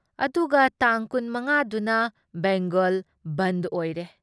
ꯑꯗꯨꯒ ꯇꯥꯡ ꯀꯨꯟ ꯃꯉꯥꯗꯨꯅ ꯕꯦꯡꯒꯜ ꯕꯟꯗ ꯑꯣꯏꯔꯦ ꯫